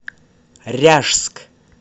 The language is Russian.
ряжск